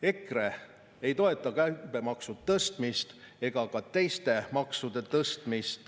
EKRE ei toeta käibemaksu tõstmist ega ka teiste maksude tõstmist.